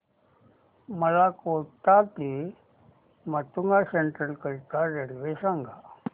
मला कोटा ते माटुंगा सेंट्रल करीता रेल्वे सांगा